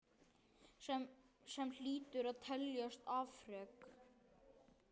Sem hlýtur að teljast afrek.